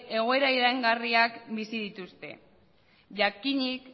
egoera iraingarriak bizi dituzte jakinik